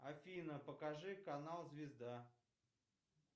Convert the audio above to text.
афина покажи канал звезда